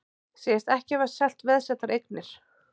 Segjast ekki hafa selt veðsettar eignir